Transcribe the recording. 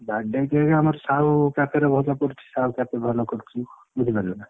Birthday cake ଆମର ସାହୁ ପାଖରେ ଭଲ ପଡୁଛି ସାହୁ କେତେ ଭଲ କରୁଛି ବୁଝିପାରିଲୁନା।